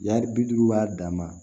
Yari bi duuru b'a dama